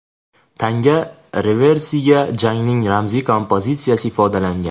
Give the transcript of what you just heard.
Tanga reversida jangning ramziy kompozitsiyasi ifodalangan.